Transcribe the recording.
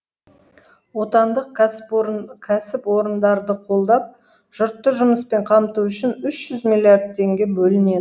отандық кәсіпорындарды қолдап жұртты жұмыспен қамту үшін үш жүз миллиард теңге бөлінет